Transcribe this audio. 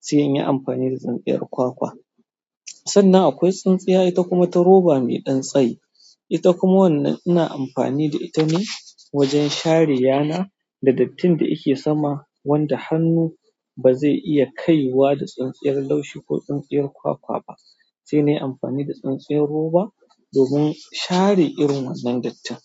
sai in yi amfani da tsintsiyar kwakwa. Sannan akwai tsintsiya ita kuma ta roba mai ɗan tsayi, ita kuma wannan ina amfani da ita ne wajen share yana da dattin da yake sama wanda hannu ba zai iya kaiwa da tsintsiyar laushi ko tsintsiyar kwakwa ba, sai na yi amfani da tsintsiyar roba domin share irin wannan dattin.